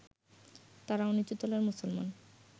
তাঁরাও নিচুতলার মুসলমান